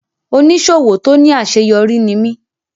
Oníṣòwò tó ní àṣeyọrí ní mí.